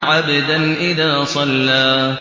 عَبْدًا إِذَا صَلَّىٰ